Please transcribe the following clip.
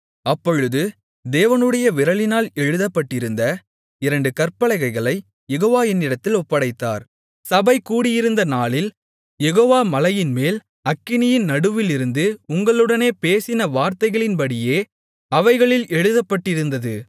அப்பொழுது தேவனுடைய விரலினால் எழுதப்பட்டிருந்த இரண்டு கற்பலகைகளைக் யெகோவா என்னிடத்தில் ஒப்படைத்தார் சபை கூடியிருந்த நாளில் யெகோவா மலையின்மேல் அக்கினியின் நடுவிலிருந்து உங்களுடனே பேசின வார்த்தைகளின்படியே அவைகளில் எழுதப்பட்டிருந்தது